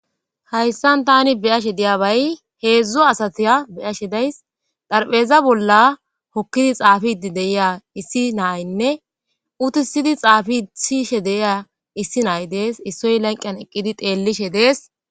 Hayssan tani beyashe diyabay heedzdzo asatiya beyashe days dharpheza bolla hokkidi xaafii deyiya issi nayinne utisidi xaafi sishe deyiya issi nay dees issoy lenqiyan eqqidi teellishe dees.